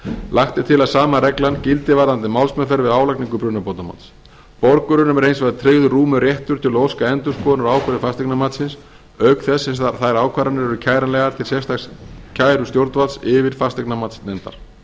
lagt er til að sama reglan gildi varðandi málsmeðferð við álagningu brunabótamats borgurunum er hins vegar tryggður rúmur réttur til að óska endurskoðunar á ákvörðun f fasteignamatsins auk þess sem þær ákvarðanir eru kæranlegar til sérstaks kærustjórnvalds yfirfasteignamatsnefndar